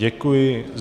Děkuji.